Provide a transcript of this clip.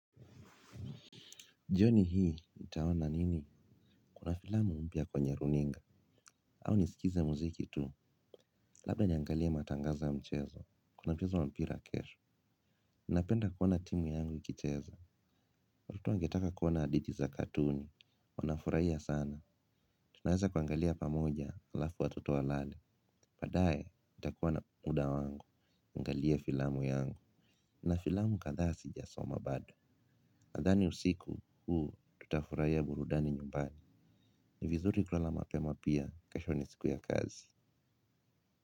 Jioni hii, nitawona nini? Kuna filamu mpia kwenye runinga. Au nisikize muziki tu. Labda niangalie matangazo ya mchezo. Kuna mchezo wa mpira kesho. Napenda kuwona timu yangu ikicheza. Ruto angetaka kuwana hadhiti za katuni. Wanafurahia sana. Tunaweza kuangalia pamoja, alafu watoto walale. Baadaye, itakuwa na muda wangu. Kuangalia filamu yangu. Na filamu kadha si jasoma bado. Nadhani usiku, huu, tutafurahia burudani nyumbani. Ni vizuri kulala mapema pia kesho ni siku ya kazi.